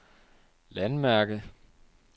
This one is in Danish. landmærke